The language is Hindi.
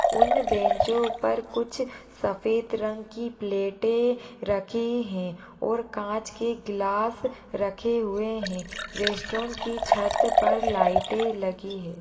उन बेंचो पर सफ़ेद रंग की कुछ प्लेटें रखी हैं और कांच की गिलास रखे हुए हैं रेस्टोरेंट की छत पर लाइटें लगी हैं।